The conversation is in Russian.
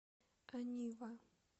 анива